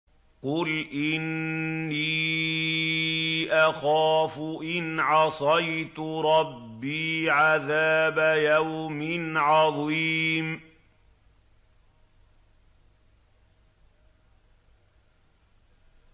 قُلْ إِنِّي أَخَافُ إِنْ عَصَيْتُ رَبِّي عَذَابَ يَوْمٍ عَظِيمٍ